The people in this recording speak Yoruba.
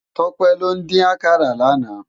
Tope ló din àkàrá làná